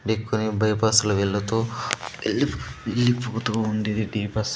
Bypass లో వెళ్ళతూ ఎల్ వెళ్ళిపోతూ ఉంది .